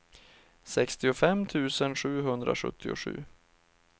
sextiofem tusen sjuhundrasjuttiosju